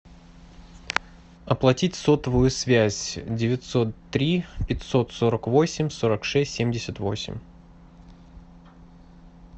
оплатить сотовую связь девятьсот три пятьсот сорок восемь сорок шесть семьдесят восемь